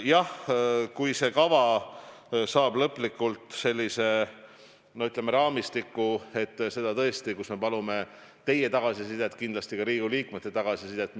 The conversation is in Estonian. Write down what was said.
Jah, kui see kava saab lõplikult sellise, ütleme, raamistiku, siis me palume teie tagasisidet kindlasti, ka Riigikogu liikmete tagasisidet.